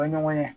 O ye ɲɔgɔn ye